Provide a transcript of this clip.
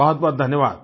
बहुतबहुत धन्यवाद